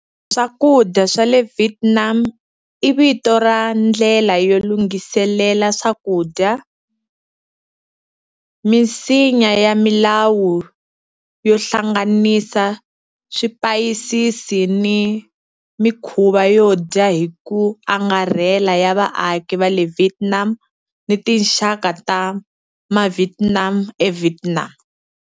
Swakudya swa le Vietnam i vito ra ndlela yo lunghiselela swakudya, misinya ya milawu yo hlanganisa swipayisisi ni mikhuva yo dya hi ku angarhela ya vaaki va le Vietnam ni tinxaka ta maVietnam eVietnam.